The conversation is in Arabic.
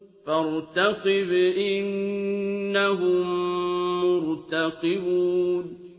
فَارْتَقِبْ إِنَّهُم مُّرْتَقِبُونَ